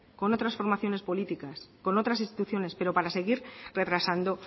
con otras formaciones políticas con otras instituciones pero para seguir retrasando